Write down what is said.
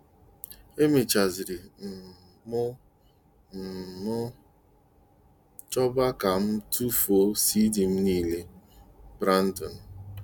E mèchàziri um m um m chọba ka m tụfuo CD m niile! "- Brandon.